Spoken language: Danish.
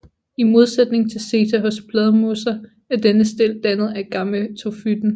I modsætning til seta hos Bladmosser er denne stilk dannet af gametofyten